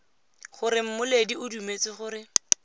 gore mmoledi o dumetse gore